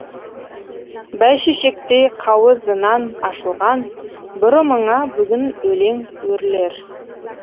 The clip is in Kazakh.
бәйшешектей қауызынан ашылған бұрымыңа бүгін өлең өрілер